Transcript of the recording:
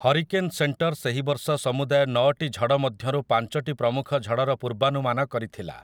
Hurricane centre ସେହି ବର୍ଷ ସମୁଦାୟ ନଅଟି ଝଡ଼ ମଧ୍ୟରୁ ପାଞ୍ଚଟି ପ୍ରମୁଖ ଝଡ଼ର ପୂର୍ବାନୁମାନ କରିଥିଲା ।